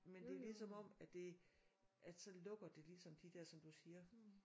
Men det er ligesom om at det at så lukker det ligesom de der som du siger